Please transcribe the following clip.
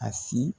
A si